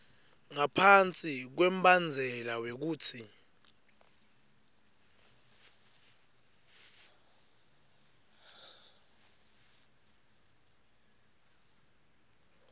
ngaphasi kwembandzela wekutsi